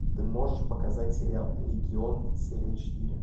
ты можешь показать сериал легион серия четыре